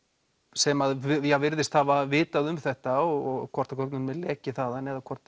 sem að virðist hafa vitað um þetta og hvort að gögnum er lekið þar eða hvort